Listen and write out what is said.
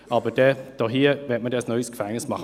Aber hier will man dann ein neues Gefängnis machen.